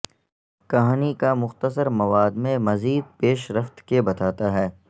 کہانی کا مختصر مواد میں مزید پیش رفت کے بتاتا ہے